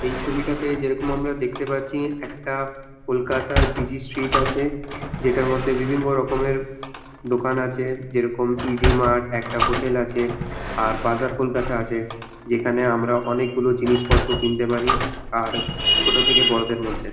এই ছবিটাতে যেইরকম আমরা দেখতে পারছি একটা কলকাতার বিজি স্ট্রিট আছে। যেটার মধ্যে র্বিভিন্ন রকমের দোকান আছে যেইরকম ইজ মার্ট একটা হোটেল আছে বাজার কলকাতা আছে। যেখানে আমরা বিভিন্ন জিনিস কিনতে পারি আর ছোট থাকে বড়দের মধ্যে।